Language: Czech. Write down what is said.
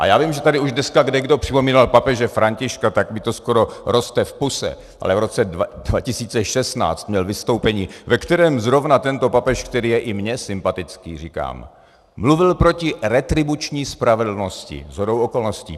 A já vím, že tady už dneska kdekdo připomínal papeže Františka, tak mi to skoro roste v puse, ale v roce 2016 měl vystoupení, ve kterém zrovna tento papež, který je i mně sympatický, říkám, mluvil proti retribuční spravedlnosti shodou okolnosti.